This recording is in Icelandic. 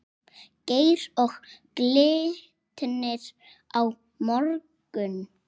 Geir Og Glitnir á morgun?